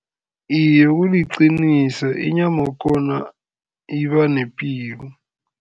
Iye, kuliqiniso inyama yakhona iba nepilo.